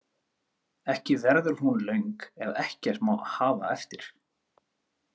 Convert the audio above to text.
Ekki verður hún löng ef ekkert má hafa eftir.